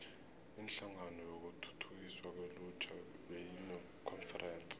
inhlangano yokuthuthukiswa kwelutjha beyinekonferense